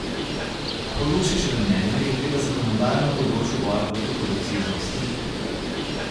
Po Lukšičevem mnenju je treba zakonodajo na področju boja proti korupciji zaostriti.